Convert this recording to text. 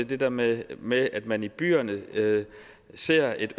det der med med at man i byerne ser et